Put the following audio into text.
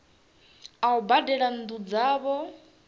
a u badela nnu dzavho